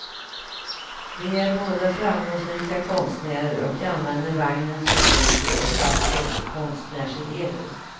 De är båda framgångsrika konstnärer och använder vagnen som studio och klassrum för konstnärselever.